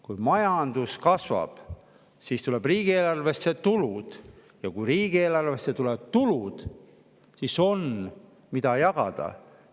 Kui majandus kasvab, siis tulevad riigieelarvesse tulud, ja kui riigieelarvesse tulevad tulud, siis on, mida jagada.